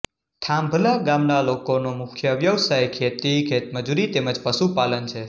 થાંભલા ગામના લોકોનો મુખ્ય વ્યવસાય ખેતી ખેતમજૂરી તેમ જ પશુપાલન છે